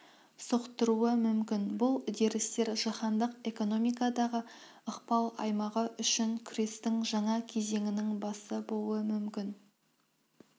соқтыруы мүмкін бұл үдерістер жаһандық экономикадағы ықпал аймағы үшін күрестің жаңа кезеңінің басы болуы мүмкін